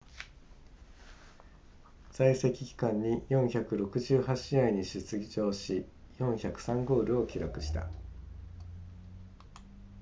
在籍期間に468試合に出場し403ゴールを記録した